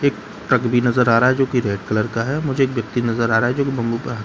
एक ट्रक भी नजर आ रहा है जो कि रेड कलर का है मुझे एक व्यक्ति नजर आ रहा है जो कि है।